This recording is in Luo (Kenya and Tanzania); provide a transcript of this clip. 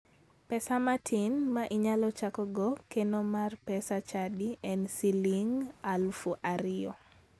Pesa matin ma inyalo chakogo keno mar pes chadi en siling' 2,000